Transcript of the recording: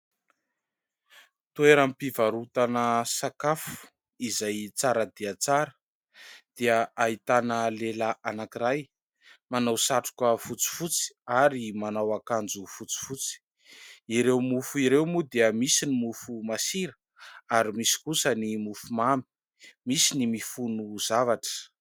Toeram-pivarotana sakafo izay tsara dia tsara dia ahitana lehilahy anankiray manao satroka fotsifotsy ary manao akanjo fotsifotsy. Ireo mofo ireo moa dia misy ny mofo masira ary misy kosa ny mofo mamy, misy ny mifono zavatra.